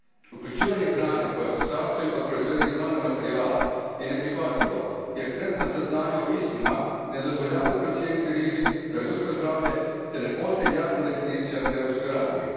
Uključivanje hrane koja se sastoji od proizvedenih nanomaterijala je neprihvatljivo jer trenutna saznanja o istima ne dozvoljavaju procijeniti rizik za ljudsko zdravlje te ne postoji jasna definicija na europskoj razini.